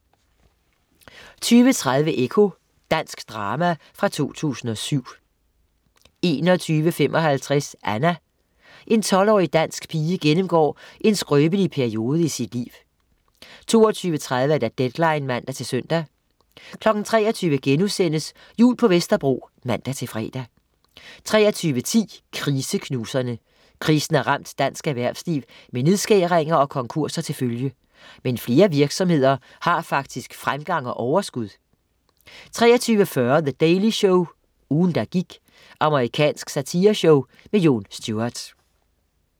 20.30 Ekko. Dansk drama fra 2007 21.55 Anna. En 12-årig pige gennemgår en skrøbelig periode i sit liv 22.30 Deadline (man-søn) 23.00 Jul på Vesterbro* (man-fre) 23.10 Kriseknuserne. Krisen har ramt dansk erhvervsliv med nedskæringer og konkurser til følge. Men flere virksomheder har faktisk fremgang og overskud 23.40 The Daily Show, ugen der gik. amerikansk satireshow. Jon Stewart